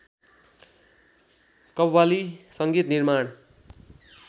कव्वाली संगीत निर्माण